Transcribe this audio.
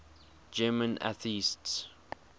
german atheists